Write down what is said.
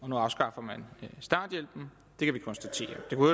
nu afskaffer man starthjælpen det kan vi konstatere det kunne